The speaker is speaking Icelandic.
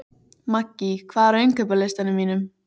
Maggý, hvað er á innkaupalistanum mínum?